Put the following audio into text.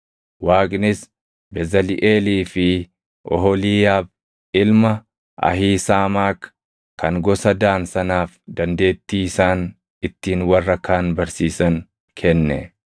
Waaqnis Bezaliʼeelii fi Oholiiyaab ilma Ahiisaamaak kan gosa Daan sanaaf dandeettii isaan ittiin warra kaan barsiisan kenne.